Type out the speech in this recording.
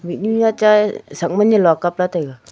mihnu nyachai sakma nyolak kabla taiga.